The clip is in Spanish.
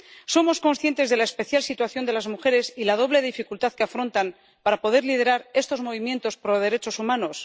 ¿Somos conscientes de la especial situación de las mujeres y la doble dificultad que afrontan para poder liderar estos movimientos pro derechos humanos?